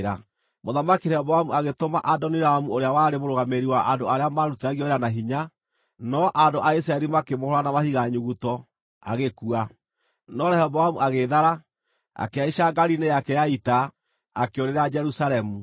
Mũthamaki Rehoboamu agĩtũma Adoniramu ũrĩa warĩ mũrũgamĩrĩri wa andũ arĩa maarutithagio wĩra na hinya, no andũ a Isiraeli makĩmũhũũra na mahiga nyuguto, agĩkua. No Rehoboamu agĩĩthara, akĩhaica ngaari-inĩ yake ya ita, akĩũrĩra Jerusalemu.